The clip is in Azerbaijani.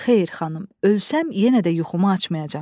Xeyr, xanım, ölsəm yenə də yuxumu açmayacam.